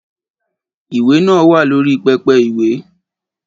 Ìwé náà wà lórí pẹpẹ ìwé